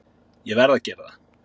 Ég verð að gera það.